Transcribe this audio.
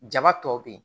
Jaba tɔ be yen